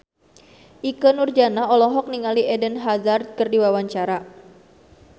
Ikke Nurjanah olohok ningali Eden Hazard keur diwawancara